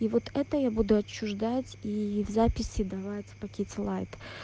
и вот это я буду отчуждать и в записи давать в пакете лайт